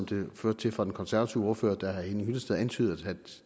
det førte til fra den konservative ordfører da herre henning hyllested antydede at